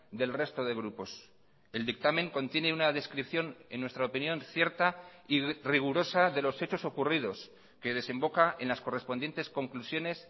del resto de grupos el dictamen contiene una descripción en nuestra opinión cierta y rigurosa de los hechos ocurridos que desemboca en las correspondientes conclusiones